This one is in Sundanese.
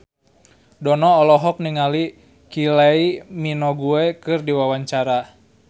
Dono olohok ningali Kylie Minogue keur diwawancara